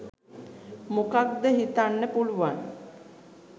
මොකක්ද හිතන්න පුළුවන්.